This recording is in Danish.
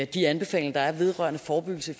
de anbefalinger der er vedrørende forebyggelse i